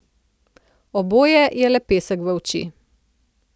Oboje je le pesek v oči.